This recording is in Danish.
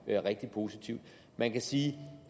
er rigtig positivt man kan sige